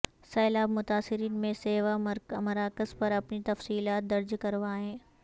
سیلاب متاثرین می سیوا مراکز پر اپنی تفصیلات درج کروائیں